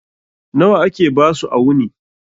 Nawa ake basu a wuni?